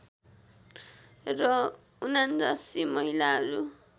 र ७९ महिलाहरू